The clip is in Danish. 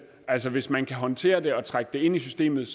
altså hvis man kan håndtere det og trække det ind i systemet